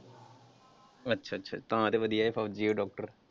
ਅੱਛਾ ਅੱਛਾ ਤਾਂ ਤੇ ਵਧੀਆ ਇਹ ਫੋਜ਼ੀ ਉਹ ਡਾਕਟਰ।